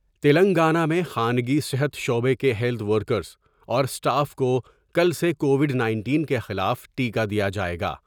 تلنگانہ میں خانگی صحت شعبہ کے ہیلتھ ورکرس اور اسٹاف کو کل سے کوو ڈ نائنٹین کے خلاف ٹیکہ دیا جاۓ گا ۔